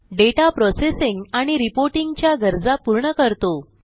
दाता processing आणि reporting च्या गरजा पूर्ण करतो